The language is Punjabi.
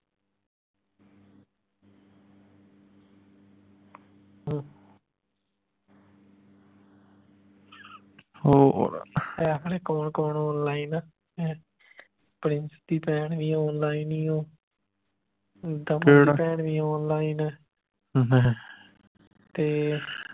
ਪਤਾ ਕੌਣ ਕੌਣ online ਹੈ ਪ੍ਰਿੰਸ ਦੀ ਭੈਣ ਵੀ online ਈ ਓ ਦੀ ਭੈਣ ਵੀ online ਹੈ ਤੇ